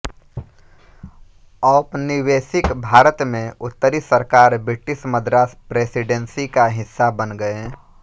औपनिवेशिक भारत में उत्तरी सरकार ब्रिटिश मद्रास प्रेसिडेंसी का हिस्सा बन गए